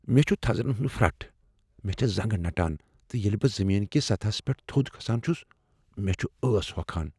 مےٚ چھ تھزرن ہنٛد پھرٹھ ۔ مےٚ چھےٚ زنٛگہ نٹان ، تہٕ ییٚلہ بہٕ زمین كہِ سطحس پیٚٹھ تھوٚد كھسان چُھس مے٘ چُھ ٲس ہوكھان ۔